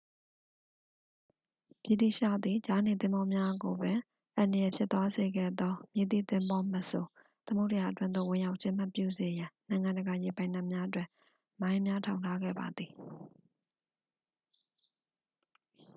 ဗြိတိသျှသည် ကြားနေသင်္ဘောများကိုပင် အန္တရာယ်ဖြစ်သွားစေခဲ့သော မည်သည့်သင်္ဘောမဆို သမုဒ္ဒရာအတွင်းသို့ဝင်ရောက်ခြင်းမပြုစေရန် နိုင်ငံတကာရေပိုင်နက်များတွင် မိုင်းများထောင်ထားခဲ့ပါသည်